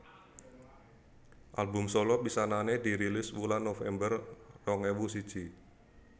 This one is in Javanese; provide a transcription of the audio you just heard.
Album solo pisanané dirilis wulan November rong ewu siji